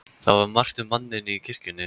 Það var margt um manninn í kirkjunni.